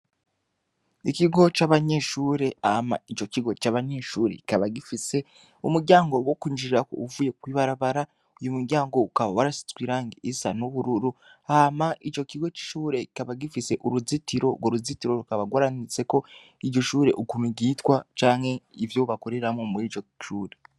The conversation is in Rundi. Ikigo c'abanyeshure hama ico kigo c'abanyeshure kikaba gifise umuryango wo kwinjirira uvuye kwibarabara uwo muryango ukaba warasizwe irangi isa n'ubururu hama ico kigo c'ishure rikaba gifise uruzitiro urwo ruzitiro rukaba rwaranditseko iryo shure ukuntu ryitwa canke ivyo bakoreramwo muriryo shure.